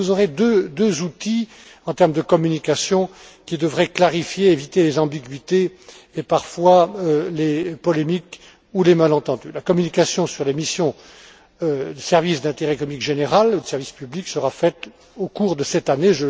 Kroes. Donc, vous aurez deux outils, en termes de communication, qui devraient clarifier et éviter les ambiguïtés et, parfois, les polémiques ou les malentendus. La communication sur les missions de services d'intérêt économique général ou de service public sera faite au cours de cette